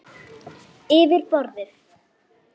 Yfir borðið.